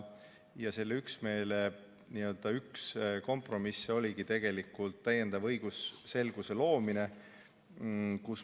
Selle üksmeele üks kompromiss oligi täiendava õigusselguse loomine.